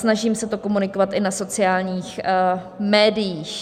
Snažím se to komunikovat i na sociálních médiích.